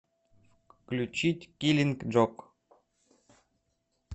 включить киллинг джок